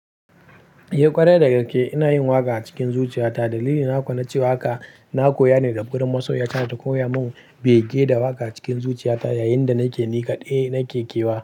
Eh, ƙwarai da gaske ina yin waƙa a cikin zuciyata. Dalili na kuwa na cewa haka, na koya ne daga gurin masoyiya ta. Da ta koya mun bege da waƙa cikin zuciyata yayin da nake nikaɗai nake kewa.